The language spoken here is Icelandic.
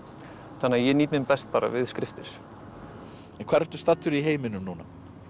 þannig að ég nýt mín best bara við skriftir hvar ertu staddur í heiminum núna